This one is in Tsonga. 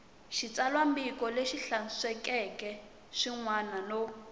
xitsalwambiko lexi hlantswekeke swinene no